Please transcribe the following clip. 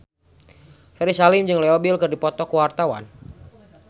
Ferry Salim jeung Leo Bill keur dipoto ku wartawan